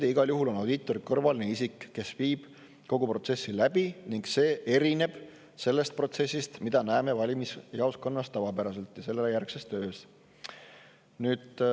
Aga igal juhul on audiitor kõrvaline isik, kes viib kogu protsessi läbi, ning see erineb sellest protsessist, mida näeme tavapäraselt valimisjaoskonnas ja sellele järgnevas töös.